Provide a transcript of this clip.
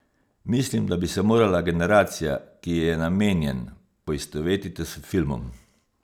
Mislim, da bi se morala generacija, ki ji je namenjen, poistovetiti s filmom.